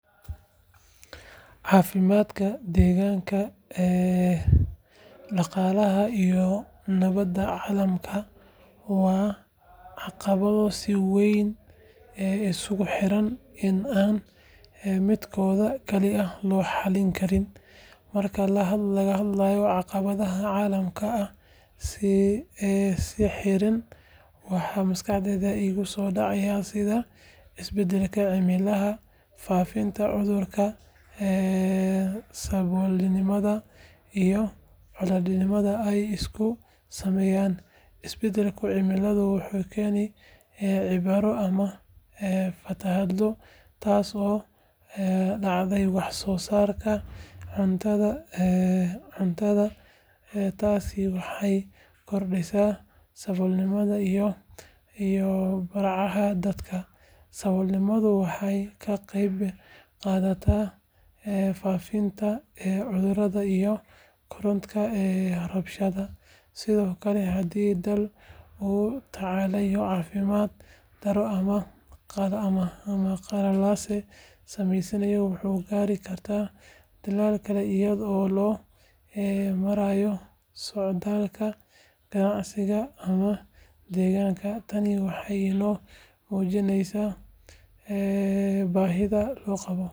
Caafimaadka, deegaanka, dhaqaalaha iyo nabadda caalamka waa caqabado si weyn isugu xidhan oo aan midkoodna kaligiis loo xallin karin. Marka laga hadlayo caqabadaha caalamiga ah ee is xiran, waxaa maskaxda iiga soo dhacaya sida isbedelka cimilada, faafitaanka cudurrada, saboolnimada iyo colaadaha ay isu saameeyaan. Isbedelka cimilada wuxuu keenaa abaaro ama fatahaado taasoo dhaawacda wax soo saarka cuntada, taasina waxay kordhisaa saboolnimada iyo barakaca dadka. Saboolnimaduna waxay ka qayb qaadataa faafitaanka cudurrada iyo kororka rabshadaha. Sidoo kale, haddii dal uu la tacaalayo caafimaad darro ama qalalaase, saameyntaasi waxay gaadhi kartaa dalal kale iyadoo loo marayo socdaalka, ganacsiga ama deegaanka. Tani waxay inoo muujinaysaa baahida loo qabo.